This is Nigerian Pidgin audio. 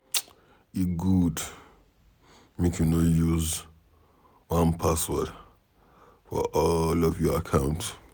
E good make you no use one password for all of your account.